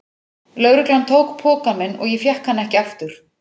Lögreglan tók pokann minn og ég fékk hann ekki aftur.